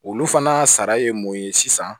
Olu fana sara ye mun ye sisan